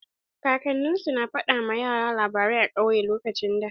Kakanni su na fada ma yara labarai a kauye a lokacin da.